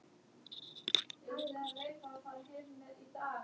Hið ótrúlegasta heyrist einsog lágvært hvískur.